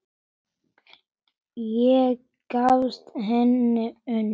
Ég giftist hingað ung